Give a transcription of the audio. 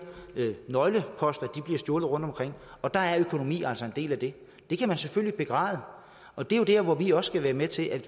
nøgleposter bliver stjålet rundtomkring og der er økonomi altså en del af det det kan man selvfølgelig begræde og det er jo der hvor vi også skal være med til at